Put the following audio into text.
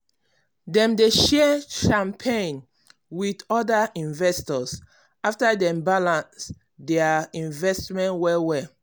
dem dey share champagne with other investors after dem balance their investment well well